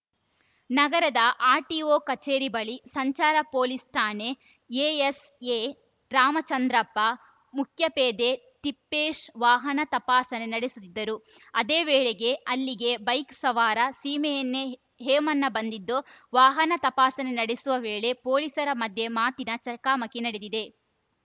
ನಗರದ ಆರ್‌ಟಿಓ ಕಚೇರಿ ಬಳಿ ಸಂಚಾರ ಪೊಲೀಸ್‌ ಠಾಣೆ ಎಎಸ್‌ಎ ರಾಮಚಂದ್ರಪ್ಪ ಮುಖ್ಯಪೇದೆ ತಿಪ್ಪೇಶ್‌ ವಾಹನ ತಪಾಸಣೆ ನಡೆಸುತ್ತಿದ್ದರು ಅದೇ ವೇಳೆಗೆ ಅಲ್ಲಿಗೆ ಬೈಕ್‌ ಸವಾರ ಸೀಮೆಎಣ್ಣೆ ಹೇಮಣ್ಣ ಬಂದಿದ್ದು ವಾಹನ ತಪಾಸಣೆ ನಡೆಸುವ ವೇಳೆ ಪೊಲೀಸರ ಮಧ್ಯೆ ಮಾತಿನ ಚಕಮಕಿ ನಡೆದಿದೆ